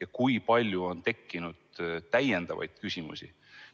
ja kui palju on tekkinud täiendavaid küsimusi?